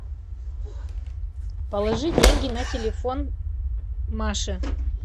положи деньги на телефон маше